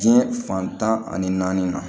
Diɲɛ fantan ani naani ma